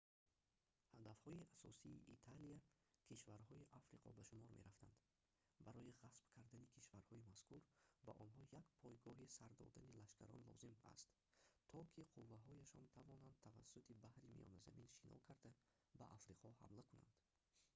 ҳадафҳои асосии италия кишварҳои африқо ба шумор мерафтанд барои ғасб кардани кишварҳои мазкур ба онҳо як пойгоҳи сар додани лашкарон лозим астто ки қувваҳояшон тавонанд тавассути баҳри миёназамин шино карда ба африқо ҳамла кунанд